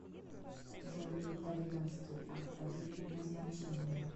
джой итальянский алфавит назначение